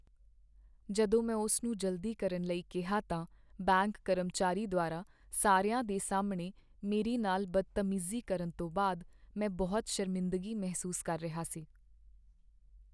ਜਦੋਂ ਮੈਂ ਉਸ ਨੂੰ ਜਲਦੀ ਕਰਨ ਲਈ ਕਿਹਾ ਤਾਂ ਬੈਂਕ ਕਰਮਚਾਰੀ ਦੁਆਰਾ ਸਾਰਿਆਂ ਦੇ ਸਾਹਮਣੇ ਮੇਰੇ ਨਾਲ ਬਦਤਮੀਜੀ ਕਰਨ ਤੋਂ ਬਾਅਦ ਮੈਂ ਬਹੁਤ ਸ਼ਰਮਿੰਦਗੀ ਮਹਿਸੂਸ ਕਰ ਰਿਹਾ ਸੀ।